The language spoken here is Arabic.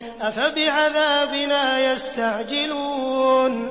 أَفَبِعَذَابِنَا يَسْتَعْجِلُونَ